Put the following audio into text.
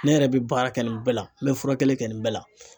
Ne yɛrɛ bɛ baara kɛ nin bɛɛ la n bɛ furakɛli kɛ nin bɛɛ la.